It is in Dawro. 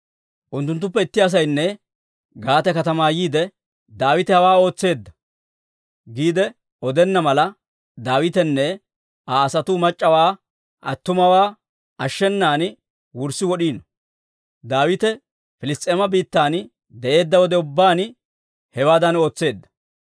Unttunttuppe itti asaynne Gaate katamaa yiide, «Daawite hawaa ootseedda» giide odenna mala, Daawitenne Aa asatuu mac'c'awaa attumawaa ashshenan wurssi wod'iino. Daawite Piliss's'eema biittan de'eedda wode ubbaan hewaadan ootseedda.